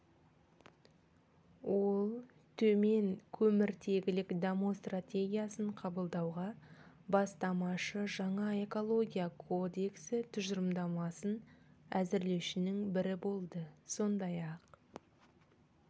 ол төмен көміртегілік даму стратегиясын қабылдауға бастамашы жаңа экология кодексі тұжырымдамасын әзірлеушінің бірі болды сондай-ақ